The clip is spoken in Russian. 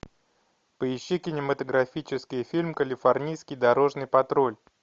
поищи кинематографический фильм калифорнийский дорожный патруль